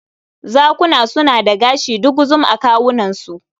Zakuna suna da gashi duguzum a kawunansu.